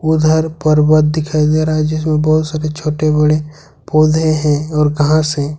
उधर पर्वत दिखाई दे रहा है जिसमें बहुत सारे छोटे बड़े पौधे हैं और कहां से--